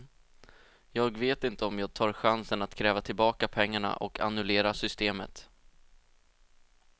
Jag vet inte om jag tar chansen att kräva tillbaka pengarna och annullera systemet.